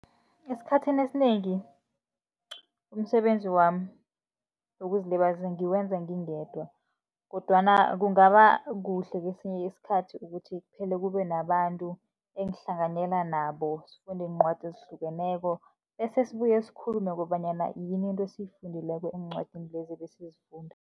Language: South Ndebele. Esikhathini esinengi umsebenzi wami wokuzilibazisa, ngiwenza ngingedwa. Kodwana kungaba kuhle kesinye isikhathi ukuthi kuphele kube nabantu, engihlanganyela nabo sifunde iincwadi ezihlukeneko. Bese sibuye sikhulume kobanyana yini into esiyifundileko eencwadini lezi ebesizifunda.